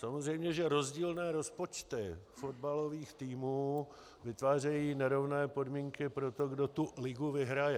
Samozřejmě že rozdílné rozpočty fotbalových týmů vytvářejí nerovné podmínky pro to, kdo tu ligu vyhraje.